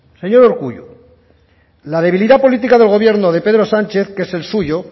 señor urkullu la debilidad política del gobierno de pedro sánchez que es el suyo